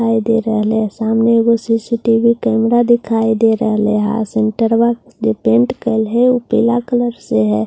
हाइदे रहले सामने एक ऊ सी_सी_टी_वी कैमरा दिखााई दे रहले है और सिन्‍टरवा पेंट कलहै ऊ पीला कलर से है।